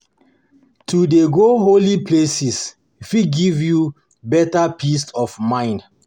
To dey go holy place fit give you beta peace of mind.